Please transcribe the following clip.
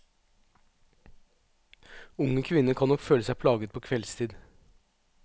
Unge kvinner kan nok føle seg plaget på kveldstid.